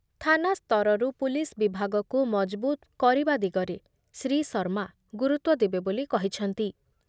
ଥାନା ସ୍ତରରୁ ପୁଲିସ୍ ବିଭାଗକୁ ମଜବୁତ କରିବା ଦିଗରେ ଶ୍ରୀ ଶର୍ମା ଗୁରୁତ୍ଵ ଦେବେ ବୋଲି କ‌ହିଛନ୍ତି